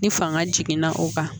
Ni fanga jiginna o kan